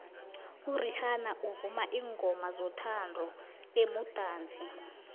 irihanna uvuma iingomazothandu bemudatsi